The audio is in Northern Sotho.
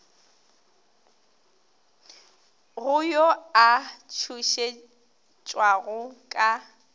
go yo a tšhošetšwago ka